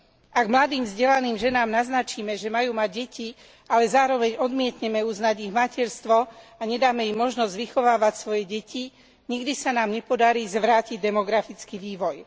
Ak mladým vzdelaným ženám naznačíme, že majú mať deti, ale zároveň odmietneme uznať ich materstvo a nedáme im možnosť vychovávať svoje deti, nikdy sa nám nepodarí zvrátiť demografický vývoj.